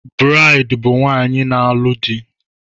Braid bụ nwaanyị na-alụ di